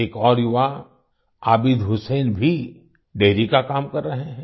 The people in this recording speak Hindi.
एक और युवा आबिद हुसैन भी डेयरी का काम कर रहें हैं